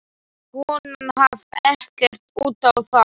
Konan gaf ekkert út á það.